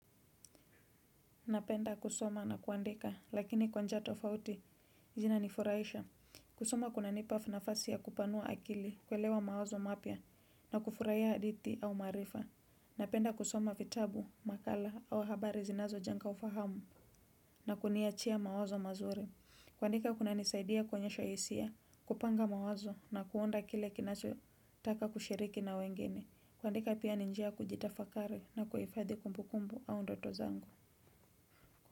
Napenda kusoma na kuandika, lakini kwa njia tofauti, zinanifuraisha. Kusoma kunanipa nafasi ya kupanua akili, kuelewa mawazo mapya, na kufurahia hadithi au maarifa. Napenda kusoma vitabu, makala au habari zinazojenga ufahamu, na kuniachia mawazo mazuri. Kuandika kunanisaidia kuonesha hisia, kupanga mawazo, na kuunda kile kinachotaka kushiriki na wengine. Kuandika pia ni njia ya kujitafakari na kuhifadhi kumbukumbu au ndoto zangu.